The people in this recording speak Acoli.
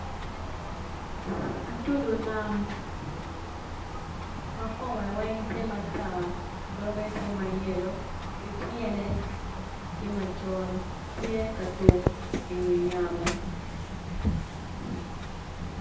Atudu nam makome weng tye matar doge tye mayelo kityene tye macol tye katuk i wi yamo.